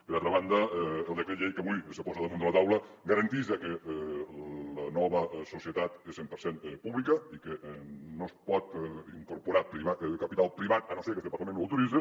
per altra banda el decret llei que avui se posa damunt de la taula garanteix que la nova societat és cent per cent pública i que no es pot incorporar capital privat a no ser que este parlament ho autoritze